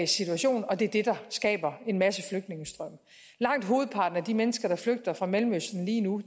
situation og det er det der skaber en masse flygtningestrømme langt hovedparten af de mennesker der flygter fra mellemøsten lige nu